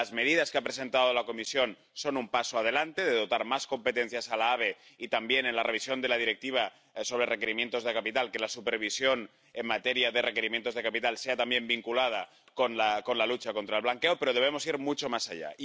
Las medidas que ha presentado la Comisión son un paso adelante dotar de más competencias a la ABE y, en la revisión de la Directiva sobre requerimientos de capital, que la supervisión en materia de requerimientos de capital se vincule también a la lucha contra el blanqueo, pero debemos ir mucho más allá.